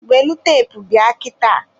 welụ teepu bịa kịta.